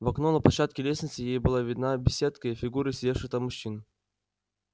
в окно на площадке лестницы ей была видна беседка и фигуры сидевших там мужчин